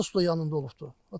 Hə, atası da suda yanında olubdur.